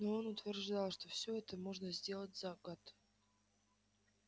но он утверждал что всё это можно сделать за год